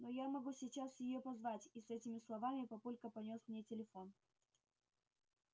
но я могу сейчас её позвать и с этими словами папулька понёс мне телефон